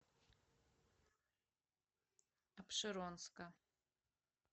апшеронска